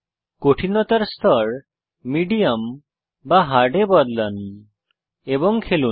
কঠিনতার স্তর মিডিয়াম বা হার্ড এ বদলান এবং খেলুন